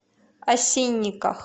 осинниках